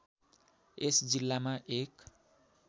यस जिल्लामा एक